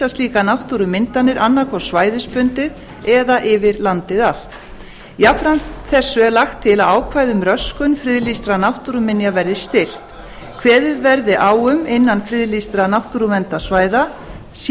slíkar náttúrumyndanir annað hvort svæðisbundið eða yfir landið allt jafnframt þessu er lagt til að ákvæði um röskun friðlýstra náttúruminja verði styrkt kveðið verði á um að innan friðlýstra náttúruverndarsvæða sé